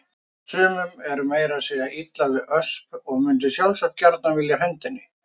Sumum er meira að segja illa við Ösp og mundu sjálfsagt gjarnan vilja henda henni.